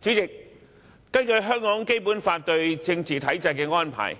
主席，根據《基本法》對政治體制的安排，